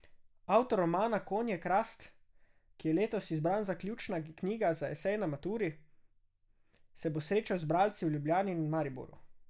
Avtor romana Konje krast, ki je letos izbran kot ključna knjiga za esej na maturi, se bo srečal z bralci v Ljubljani in Mariboru.